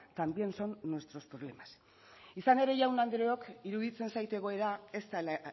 también son nuestros problemas izan ere jaun andreok iruditzen zait egoera ez dela